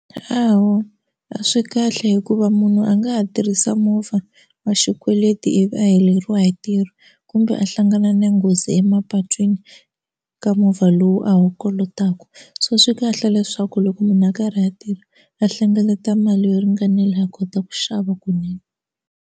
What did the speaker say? Hawa a swi kahle hikuva munhu a nga ha tirhisa movha wa xikweleti ivi a heleriwa hi ntirho kumbe a hlangana na nghozi emapatwini ka movha lowu a wu kolotaka so swi kahle leswaku loko munhu a karhi a tirha a hlengeleta mali yo ringanela a kota ku xava kunene.